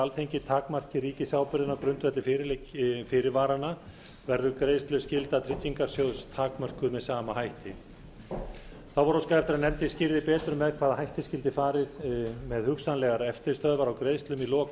alþingi takmarki ríkisábyrgðina á grundvelli fyrirvaranna verður greiðsluskylda tryggingarsjóðs takmörkuð með sama hætti þá var óskað eftir að nefndin skýrði betur með hvaða hætti skyldi farið með hugsanlegar eftirstöðvar á greiðslum í lok